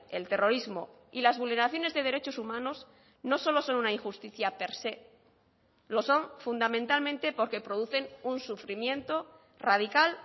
el terrorismo y las vulneraciones de derechos humanos no solo son una injusticia per se lo son fundamentalmente porque producen un sufrimiento radical